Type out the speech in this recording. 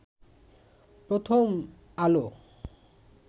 Prothom Alo